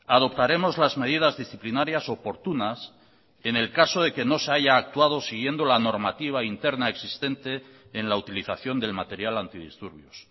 adoptaremos las medidas disciplinarias oportunas en el caso de que no se haya actuado siguiendo la normativa interna existente en la utilización del material antidisturbios